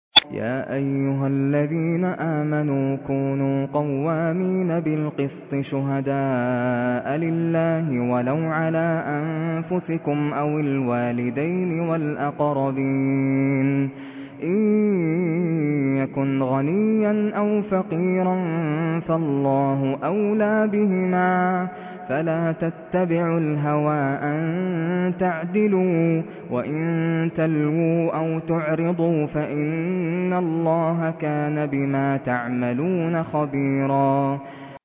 ۞ يَا أَيُّهَا الَّذِينَ آمَنُوا كُونُوا قَوَّامِينَ بِالْقِسْطِ شُهَدَاءَ لِلَّهِ وَلَوْ عَلَىٰ أَنفُسِكُمْ أَوِ الْوَالِدَيْنِ وَالْأَقْرَبِينَ ۚ إِن يَكُنْ غَنِيًّا أَوْ فَقِيرًا فَاللَّهُ أَوْلَىٰ بِهِمَا ۖ فَلَا تَتَّبِعُوا الْهَوَىٰ أَن تَعْدِلُوا ۚ وَإِن تَلْوُوا أَوْ تُعْرِضُوا فَإِنَّ اللَّهَ كَانَ بِمَا تَعْمَلُونَ خَبِيرًا